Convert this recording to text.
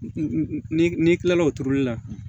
Ni n'i kilala o turuli la